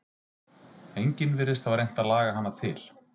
Enginn virðist hafa reynt að laga hana til.